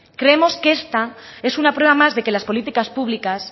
creemos que esta es una prueba más de que las políticas públicas